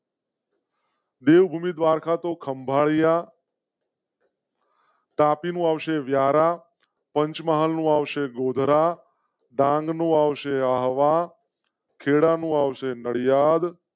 દેવ ભૂમિ દ્વારકા તો ખંભાળિયા. તાપ માં આવશે વ્યારા, પંચમહાલ માં આવશે ગોધરા ડાંગનું આવશે આવા ખેરા નું આવશે નડિયાડ.